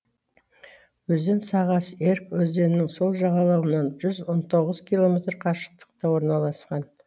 өзен сағасы ерг өзенінің сол жағалауынан жүз он тоғыз километр қашықтықта орналасқан